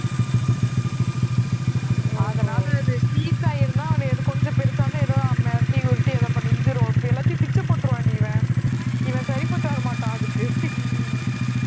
அதனால அது ஸ்ரீசாய் இருந்தா அது கொஞ்சம் பெருசா இருந்தால் ஏதோ மிரட்டி உருட்டி எல்லாத்தையும் பிச்சு போட்டுடுவான்டி இவன், இவன் சரிப்பட்டு வர மாட்டான் அதுக்கு